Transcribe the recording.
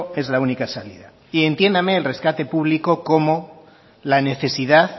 es la única salida y entiéndame el recate público como la necesidad